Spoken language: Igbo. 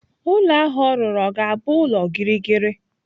Ụlọ ahụ ọ rụrụ o ga-abụ ulo gịrịgịrị?